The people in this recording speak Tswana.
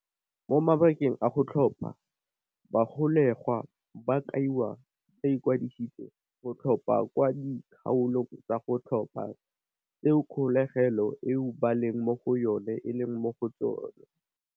Mo mabakeng a go tlhopha, bagolegwa ba kaiwa ba ikwadiseditse go tlhopha kwa di kgaolong tsa go tlhopha tseo kgolegelo eo ba leng mo go yone eleng mo go tsone.